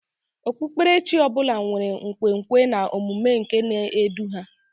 Okpukpere chi ọ bụla nwere nkwenkwe na omume nke na-edu ha